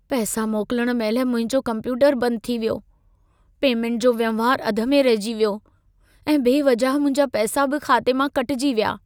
पैसा मोकिलण महिल मुंहिंजो कम्प्यूटरु बंदि थी वियो। पेमेंट जो वहिंवारु अध में रहिजी वियो ऐं बेवजह मुंहिंजा पैसा बि खाते मां कटिजी विया।